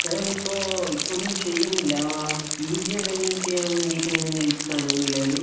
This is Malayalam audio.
ഞാൻ ഇപ്പൊ ഇപ്പൊ ഒന്നും ചെയ്യുന്നില്ല പി ജി എന്തേലും ചെയ്യാൻ വേണ്ടി ഇങ്ങനെ നില്ക്കാണ് നിലവില്